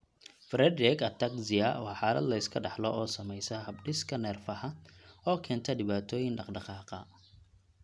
Friedreich ataxia waa xaalad la iska dhaxlo oo saamaysa habdhiska neerfaha oo keenta dhibaatooyin dhaqdhaqaaqa.